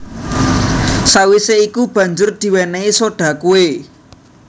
Sawisé iku banjur diwénéhi soda kué